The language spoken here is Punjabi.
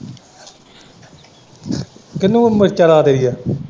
ਕਿਹਨੂੰ ਮਿਰਚਾਂ ਲਾ ਦੇਣੀਆਂ।